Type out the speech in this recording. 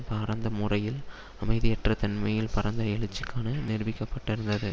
பாரந்த மூடையில் அமைதியற்ற தன்மையில் பரந்த எழுச்சிகளுக்கான நிரூபிக்கப்பட்டு இருந்தது